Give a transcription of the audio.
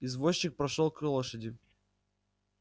извозчик прошёл к лошади